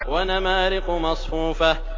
وَنَمَارِقُ مَصْفُوفَةٌ